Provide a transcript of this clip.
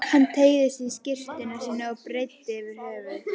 Hann teygði sig í skyrtuna sína og breiddi yfir höfuð.